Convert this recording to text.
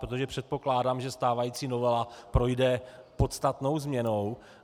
Protože předpokládám, že stávající novela projde podstatnou změnou.